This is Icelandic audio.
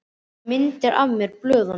Það komu myndir af mér blöðunum.